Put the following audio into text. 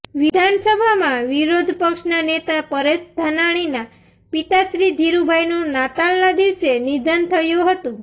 વિધાનસભામાં વિરોધપક્ષના નેતા પરેશ ધાનાણીના પિતાશ્રી ઘીરૂભાઈનું નાતાલના દિવસે નિધન થયું હતું